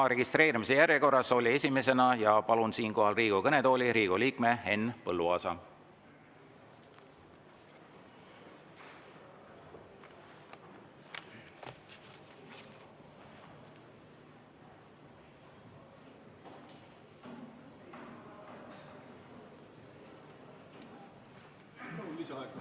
Registreerimise järjekorras oli esimesena ja palun siinkohal Riigikogu kõnetooli Riigikogu liikme Henn Põlluaasa.